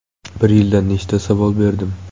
Bir yilda nechta savol berdim?